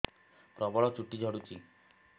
ପ୍ରବଳ ଚୁଟି ଝଡୁଛି